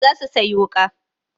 Za su sayi wuƙa.